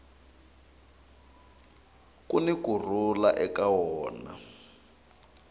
kuni ku rhula eka wona